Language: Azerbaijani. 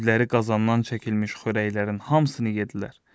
Devləri qazandan çəkilmiş xörəklərin hamısını yedlər.